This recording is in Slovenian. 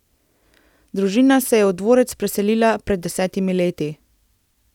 Družina se je v dvorec preselila pred desetimi leti.